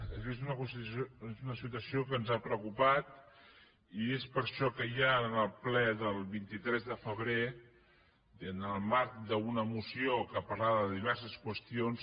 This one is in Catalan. aquesta és una situació que ens ha preocupat i és per això que ja en el ple del vint tres de febrer i en el marc d’una moció que parlava de diverses qüestions